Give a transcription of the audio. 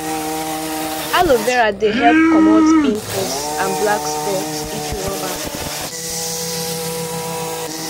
aloe vera dey help commot pimples and black spot if you rub am